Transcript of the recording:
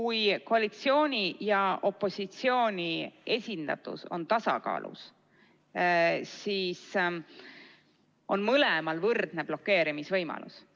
Kui koalitsiooni ja opositsiooni esindatus on tasakaalus, siis on mõlemal võrdne blokeerimise võimalus.